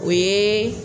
O ye